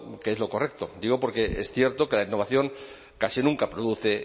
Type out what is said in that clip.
que es lo correcto digo porque es cierto que la innovación casi nunca produce